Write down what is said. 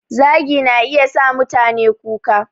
Zagi na iya sa mutane kuka